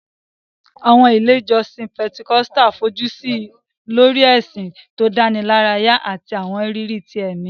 Àwọn ilé ìjọsìn Pentecostal fojú sí lórí ìsìn tó dánilárayá àti àwọn ìrírí ti ẹ̀mí